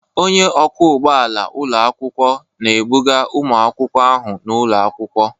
Onye ọkwọ ụgbọ ala ụlọ akwụkwọ na-ebuga ụmụ akwụkwọ ahụ n'ụlọ akwụkwọ.